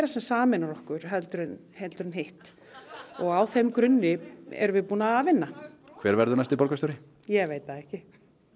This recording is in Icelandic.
sem sameinar okkur heldur en heldur en hitt og á þeim grunni erum við að vinna hver verður næsti borgarstjóri ég veit það ekki